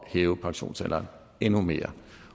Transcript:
hæve pensionsalderen endnu mere